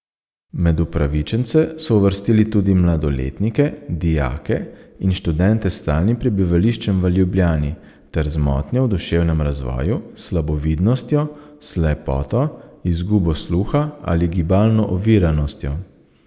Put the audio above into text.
Med upravičence so uvrstili tudi mladoletnike, dijake in študente s stalnim prebivališčem v Ljubljani ter z motnjo v duševnem razvoju, slabovidnostjo, slepoto, izgubo sluha ali gibalno oviranostjo.